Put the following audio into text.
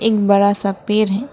एक बड़ा सा पेड़ है।